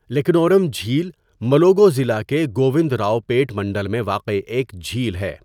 لکنورم جھیل ملوگو ضلع کے گووندراؤپیٹ منڈل میں واقع ایک جھیل ہے۔